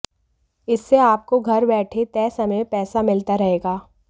इससे आपको घर बैठे तय समय में पैसा मिलता रहेगा